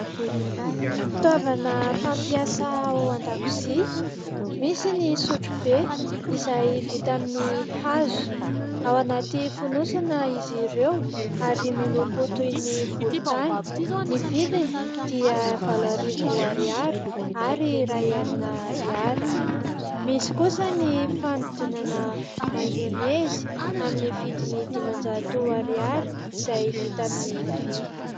Fitaovana fampiasa ao an-dakozia, misy ny sotro be izay vita amin'ny hazo. Ao anaty fonosana izy ireo ary miloko toy ny volontany, ny vidiny dia valo arivo ariary ary iray alina arihary. Misy kosa ny fanodinana maionezy amin'ny vidiny dimanjato ariary izay vita amin'ny vy.